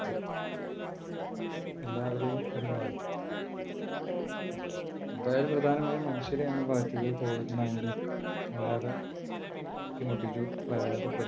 എല്ലാവരെയും അതു ബാധിച്ചു, എന്തായാലും പ്രധാനമായും മനുഷ്യരെ ആണ് ബാധിച്ചത് covid nineteen വല്ലാതെ ബുദ്ധിമുട്ടിച്ചു പ്രയാസപ്പെടുത്തി